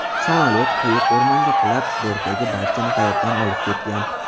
Samolyot quyuq o‘rmonga qulab, bortdagi barchani hayotdan olib ketgan .